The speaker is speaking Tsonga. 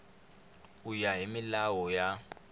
ku ya hi milawu ya